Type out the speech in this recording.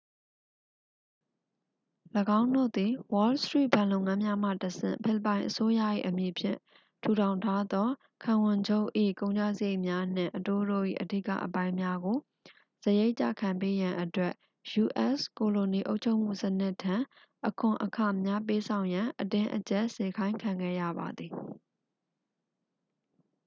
၎င်းတို့သည် wall street ဘဏ်လုပ်ငန်းများမှတဆင့် ဖိလစ်ပိုင်အစိုးရ၏အမည်ဖြင့် ထူထောင်ထားသောခံဝန်ချုပ်၏ ကုန်ကျစရိတ်များနှင့် အတိုးတို့၏ အဓိကအပိုင်းများကို စရိတ်ကျခံပေးရန်အတွက် ယူအက်စ် ကိုလိုနီအုပ်ချုပ်မှုစနစ်ထံ အခွန်အခများပေးဆောင်ရန် အတင်းအကြပ်စေခိုင်းခံခဲ့ရပါသည်